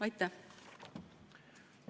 Aitäh!